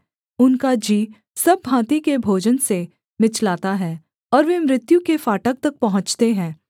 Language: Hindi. उनका जी सब भाँति के भोजन से मिचलाता है और वे मृत्यु के फाटक तक पहुँचते हैं